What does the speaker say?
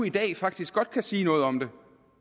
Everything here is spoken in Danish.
i dag faktisk godt kan sige noget om det